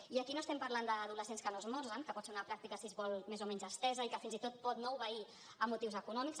i aquí no parlem d’adolescents que no esmorzen que pot ser una pràctica si es vol més o menys estesa i que fins i tot pot no obeir a motius econòmics